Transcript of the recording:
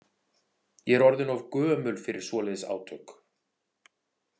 Ég er orðin of gömul fyrir svoleiðis átök.